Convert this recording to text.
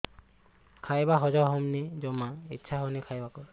ଖାଇବା ହଜମ ହଉନି ଜମା ଇଛା ହଉନି ଖାଇବାକୁ